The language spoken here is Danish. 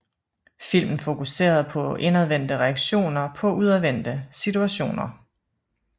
Filmen fokuserede på indadvendte reaktioner på udadvendte situationer